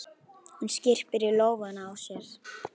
Hún skyrpir í lófana á sér.